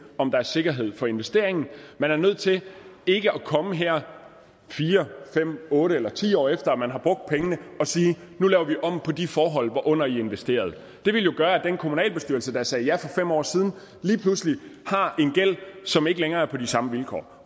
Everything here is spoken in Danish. om der er sikkerhed for investeringen man er nødt til ikke at komme her fire fem otte eller ti år efter man har brugt pengene og sige nu laver vi om på de forhold hvorunder i investerede det ville jo gøre at den kommunalbestyrelse der sagde ja for fem år siden lige pludselig har en gæld som ikke længere er på de samme vilkår